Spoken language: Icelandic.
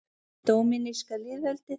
Dóminíska lýðveldið